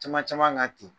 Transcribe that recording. Caman caman ka ten